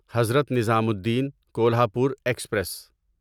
Hazrat Nizamuddin Kolhapur express